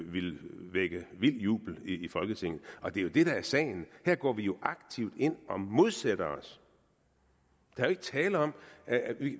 ville vække vild jubel i folketinget og det er det der er sagen her går vi jo aktivt ind og modsætter os der er ikke tale om at vi